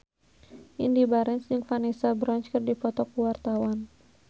Indy Barens jeung Vanessa Branch keur dipoto ku wartawan